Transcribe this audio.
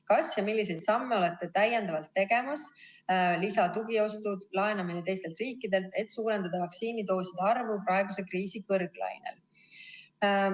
Kas ja milliseid samme olete täiendavalt tegemas , et suurendada vaktsiinidooside arvu praeguse kriisi kõrglainel.